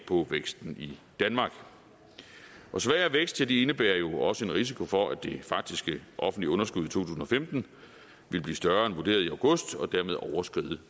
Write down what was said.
på væksten i danmark svagere vækst indebærer jo også en risiko for at det faktiske offentlige underskud tusind og femten vil blive større end vurderet i august og dermed overskride